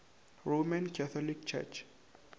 roman catholic church